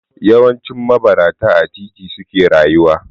Yawancin mabarata a titi suke rayuwa.